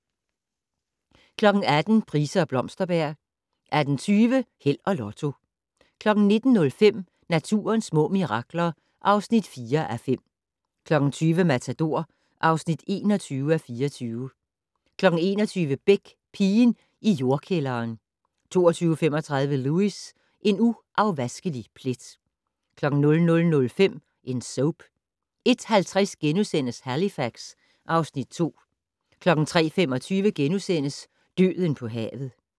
18:00: Price og Blomsterberg 18:20: Held og Lotto 19:05: Naturens små mirakler (4:5) 20:00: Matador (21:24) 21:00: Beck: Pigen i jordkælderen 22:35: Lewis: En uafvaskelig plet 00:05: En Soap 01:50: Halifax (Afs. 2)* 03:25: Døden på havet *